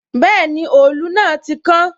Bẹẹni, òòlù náà ti kán